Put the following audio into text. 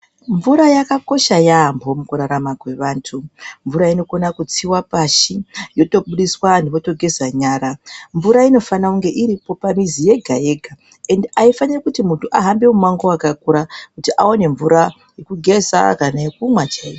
Mvura yakakosha yambho mukurarama kwevanthu mvura inokona kutsiwa pashi yotobudiswa anthu otogeza nyara. Mvura inofana kunge iripo pamizi yega yega ende aifani kuti munthu afambe mumango wakakura kuti aone mvura yekugeza kana yekumwa chaiko.